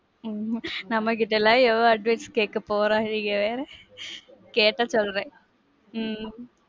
உம் நமக்கிட்டலாம் எவன் advice கேக்க போறாங்க? நீங்க வேற. கேட்டா சொல்வேன். உம்